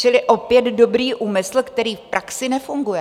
Čili opět dobrý úmysl, který v praxi nefunguje.